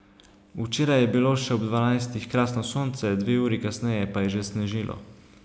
Včeraj je bilo še ob dvanajstih krasno sonce, dve uri kasneje pa je že snežilo.